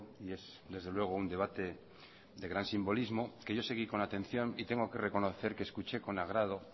y es desde luego un debate de gran simbolismo que yo seguí con atención y tengo que reconocer que escuché con agrado